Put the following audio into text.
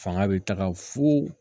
Fanga bɛ taga fo